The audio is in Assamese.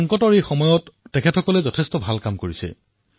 সংকটৰ এই ক্ষণত তেওঁলোকে অতি উত্তম কাম কৰিছে